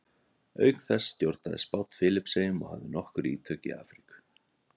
auk þessa stjórnaði spánn filippseyjum og hafði nokkur ítök í afríku